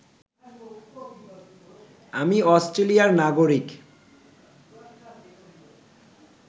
আমি অষ্ট্রেলিয়ার নাগরিক